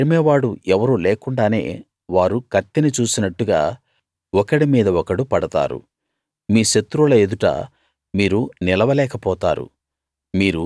తరిమేవాడు ఎవరూ లేకుండానే వారు కత్తిని చూసినట్టుగా ఒకడి మీద ఒకడు పడతారు మీ శత్రువుల ఎదుట మీరు నిలవలేక పోతారు